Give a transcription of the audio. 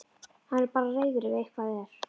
Hann verður bara reiður ef eitthvað er.